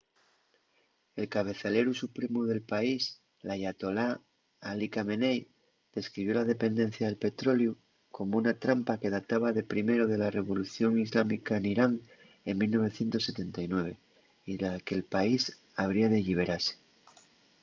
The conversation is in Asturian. el cabezaleru supremu del país l’ayatolá ali khamenei describió la dependencia del petroleu como una trampa” que databa de primero de la revolución islámica n’irán en 1979 y de la que’l país habría de lliberase